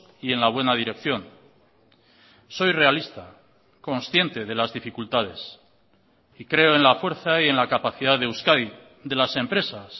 y en la buena dirección soy realista consciente de las dificultades y creo en la fuerza y en la capacidad de euskadi de las empresas